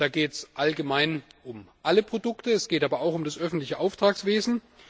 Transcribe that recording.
Da geht es allgemein um alle Produkte, es geht aber auch um das öffentliche Auftragswesen.